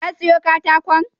Ka siyo katakon?